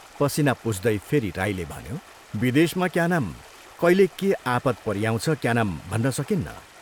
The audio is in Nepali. पसीना पुछ्दै फेरि राईले भन्यो, " विदेशमा क्या नाम कैले के आपद परिआउँछ क्या नाम भन्न सकिन्न।